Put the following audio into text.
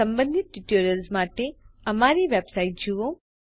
સંબંધિત ટ્યુટોરિયલ્સ માટે અમારી વેબસાઇટ httpspoken tutorialorg જુઓ